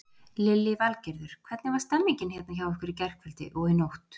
Lillý Valgerður: Hvernig var stemmingin hérna hjá ykkur í gærkvöldi og í nótt?